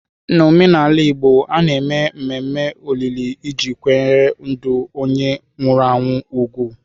N'omenala Igbo, a na-eme mmemme olili iji kwanyere ndụ onye nwụrụ anwụ ùgwù.